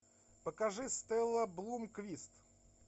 покажи стелла блумквист